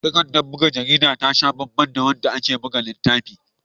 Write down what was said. Takardar buga jarida ta sha banban da wadda ake buga littafi.